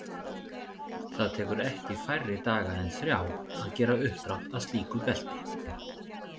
Það tekur ekki færri daga en þrjá að gera uppdrátt að slíku belti.